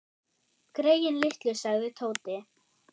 Greyin litlu sagði Tóti.